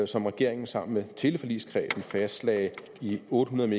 som regeringen sammen med teleforligskredsen fastlagde i otte hundrede